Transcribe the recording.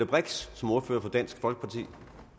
brix som ordfører for dansk folkeparti